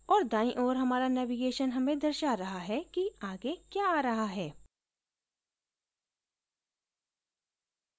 और दाई ओर हमारा navigation हमें दर्शा रहा है कि आगे क्या आ रहा है